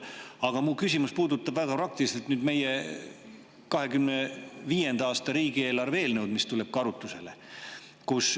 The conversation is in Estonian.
Aga mu küsimus puudutab väga praktiliselt meie 2025. aasta riigieelarve eelnõu, mis tuleb arutusele.